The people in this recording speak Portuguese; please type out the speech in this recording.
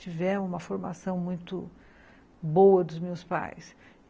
Tivemos uma formação muito boa dos meus pais.